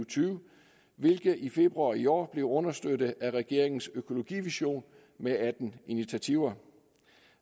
tyve hvilket i februar i år blev understøttet af regeringens økologivision med atten initiativer